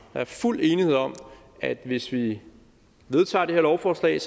der er fuld enighed om at hvis vi vedtager det her lovforslag